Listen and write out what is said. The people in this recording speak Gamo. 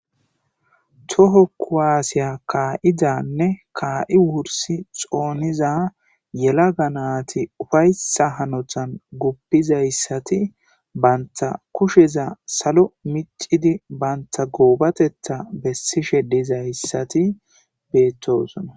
Toho kuwasiya ka'idanne ka'i wursi xoniza yelaga nati ufaysa hanotan gupizaysati banta kusheza salo mic'idi banta gobateta besishe dizaysati betosona.